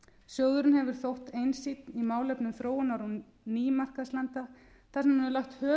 sjóðurinn hefur þótt einsýnn í málefnum þróunar og nýmarkaðslanda þar sem hann hefur lagt höfuðáherslu á